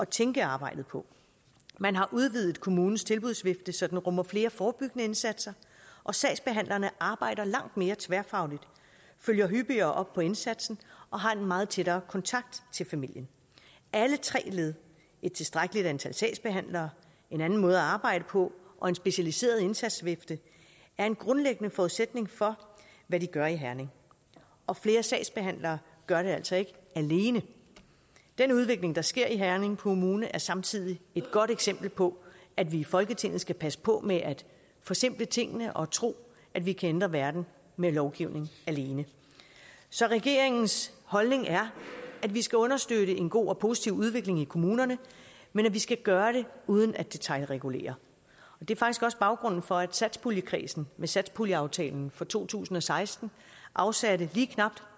tænke arbejdet på man har udvidet kommunens tilbudsvifte så den rummer flere forebyggende indsatser og sagsbehandlerne arbejder langt mere tværfagligt følger hyppigere op på indsatsen og har en meget tættere kontakt til familien alle tre led et tilstrækkeligt antal sagsbehandlere en anden måde at arbejde på og en specialiseret indsatsvifte er en grundlæggende forudsætning for hvad de gør i herning og flere sagsbehandlere gør det altså ikke alene den udvikling der sker i herning kommune er samtidig et godt eksempel på at vi i folketinget skal passe på med at forsimple tingene og tro at vi kan ændre verden med lovgivning alene så regeringens holdning er at vi skal understøtte en god og positiv udvikling i kommunerne men at vi skal gøre det uden at detailregulere det er faktisk også baggrunden for at satspuljekredsen med satspuljeaftalen for to tusind og seksten afsatte lige knap